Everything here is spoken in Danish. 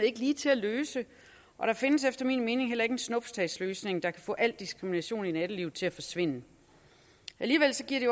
ikke ligetil at løse og der findes efter min mening heller ingen snuptagsløsning der kan få al diskrimination i nattelivet til at forsvinde alligevel giver det